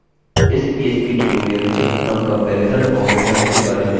इस php tutorial में हम कम्पेरिज़न तुलनात्मक ऑपरेटर्स के बारे में जानेंगे